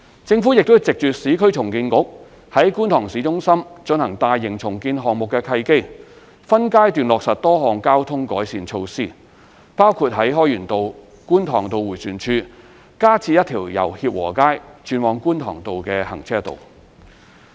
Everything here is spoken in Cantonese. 政府亦藉着市區重建局於觀塘市中心進行大型重建項目的契機，分階段落實多項交通改善措施，包括在開源道/觀塘道迴旋處加設一條由協和街轉往觀塘道的行車道。